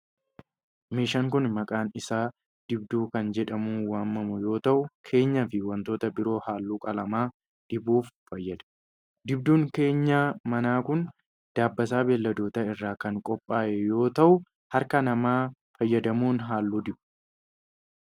Meeshaan kun, maqaan isaa dibduu kan jedhamuun waamamu yoo ta'u, keenyaa fi wantoota biroo haalluu qalamaa dibuuf fayyada. Dibduun keenyaa manaa kun, dabbasaa beeyiladootaa irraa kan qophaa'u yoo ta'u, harka namaa fayyadamuun haalluu diba.